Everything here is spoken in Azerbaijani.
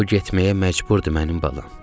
O getməyə məcburdur, mənim balam.